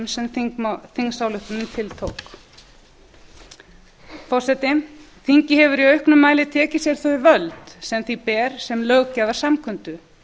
sem þingsályktunin tiltók forseti þingið hefur í auknum mæli tekið sér þau völd sem því ber sem löggjafarsamkundu